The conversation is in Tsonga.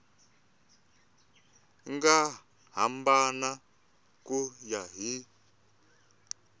nga hambana ku ya hi